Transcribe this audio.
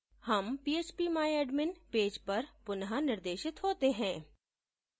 हम phpmyadmin page पर पुनःनिर्देशित होते हैं